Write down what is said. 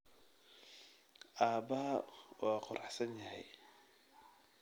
Aabahaa waa quruxsan yahay